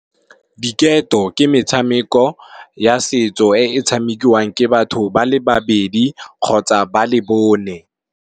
Diketo ke metshameko ya setso e tshamekiwang ke batho ba le babedi kgotsa ba le bone.